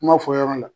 Kuma fɔ yɔrɔ la